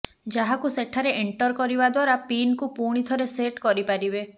ଯାହାକୁ ସେଠାରେ ଏଣ୍ଟର କରିବା ଦ୍ୱାରା ପିନକୁ ପୁଣିଥରେ ସେଟ୍ କରି ପାରିବେ